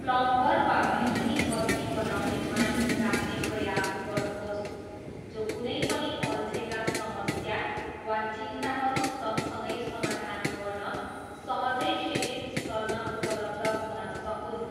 Plumber वा बिजुली बत्ती बनाउने मानिस राख्ने प्रयास गर्नुहोस् जो कुनै पनि अल्झेका समस्या वा चिन्ताहरू सँगसँगै समाधान गर्न सहजै शिविरस्थलमा उपलब्ध हुन सकून्।